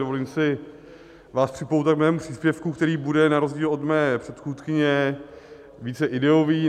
Dovolím si vás připoutat k svému příspěvku, který bude na rozdíl od mé předchůdkyně více ideový.